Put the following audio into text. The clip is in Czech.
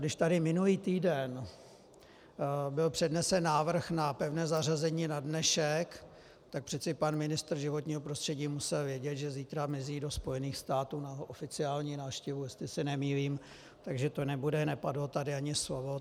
Když tady minulý týden byl přednesen návrh na pevné zařazení na dnešek, tak přece pan ministr životního prostředí musel vědět, že zítra mizí do Spojených států na oficiální návštěvu, jestli se nemýlím, takže tu nebude, nepadlo tady ani slovo.